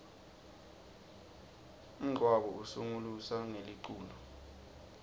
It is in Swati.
umngcabo usungulusa ngeliculo